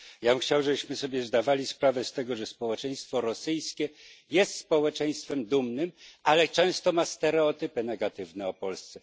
Ja bym chciał, żebyśmy sobie zdawali sprawę z tego, że społeczeństwo rosyjskie jest społeczeństwem dumnym, ale często ma stereotypy negatywne o Polsce.